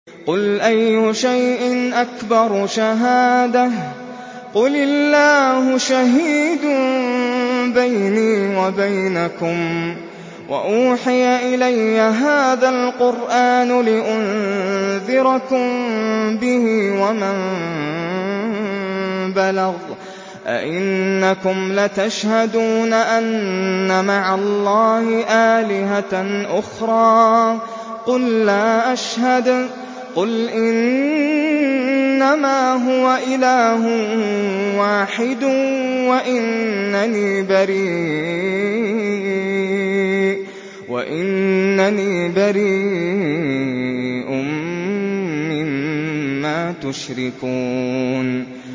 قُلْ أَيُّ شَيْءٍ أَكْبَرُ شَهَادَةً ۖ قُلِ اللَّهُ ۖ شَهِيدٌ بَيْنِي وَبَيْنَكُمْ ۚ وَأُوحِيَ إِلَيَّ هَٰذَا الْقُرْآنُ لِأُنذِرَكُم بِهِ وَمَن بَلَغَ ۚ أَئِنَّكُمْ لَتَشْهَدُونَ أَنَّ مَعَ اللَّهِ آلِهَةً أُخْرَىٰ ۚ قُل لَّا أَشْهَدُ ۚ قُلْ إِنَّمَا هُوَ إِلَٰهٌ وَاحِدٌ وَإِنَّنِي بَرِيءٌ مِّمَّا تُشْرِكُونَ